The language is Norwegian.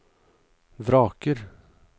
vraker